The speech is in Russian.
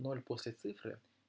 ноль после цифры